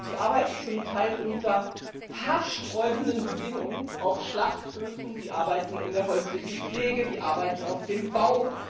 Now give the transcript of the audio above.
Sie arbeiten zum Teil unter haarsträubenden Bedingungen auf Schlachthöfen, sie arbeiten in der häuslichen Pflege, sie arbeiten auf dem Bau.